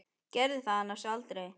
Gerði það annars aldrei.